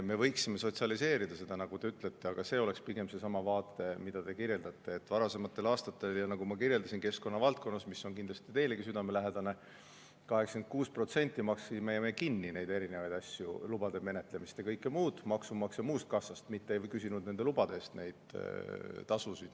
Me võiksime sotsialiseerida seda, nagu te ütlete, aga see oleks pigem seesama vaade, mida te kirjeldate, et varasematel aastatel, nagu ma kirjeldasin – keskkonna valdkonnas, mis on kindlasti teilegi südamelähedane –, me 86% maksime kinni neid erinevaid asju, lubade menetlemist ja kõike muud, maksumaksja muust kassast, mitte ei küsinud nende lubade eest tasusid.